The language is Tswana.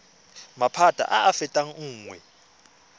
maphata a a fetang nngwe